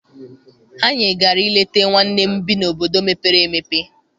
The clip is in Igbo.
Anyị gara I leta nwanne m bi n'obodo mepere emepe.